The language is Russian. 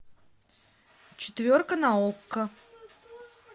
четверка на окко